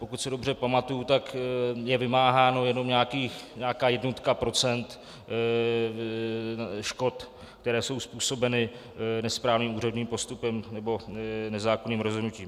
Pokud se dobře pamatuji, tak je vymáhána jenom nějaká jednotka procent škod, které jsou způsobeny nesprávným úředním postupem nebo nezákonným rozhodnutím.